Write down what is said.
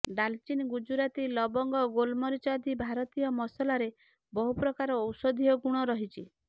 ଡାଲଚିନି ଗୁଜୁରାତି ଲବଙ୍ଗ ଗୋଲମରିଚ ଆଦି ଭାରତୀୟ ମସଲାରେ ବହୁ ପ୍ରକାର ଔଷଧୀୟ ଗୁଣ ରହିଛି